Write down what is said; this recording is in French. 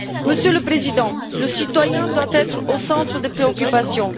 Monsieur le Président, le citoyen doit être au centre des préoccupations.